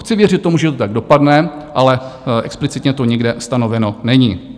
Chci věřit tomu, že to tak dopadne, ale explicitně to nikde stanoveno není.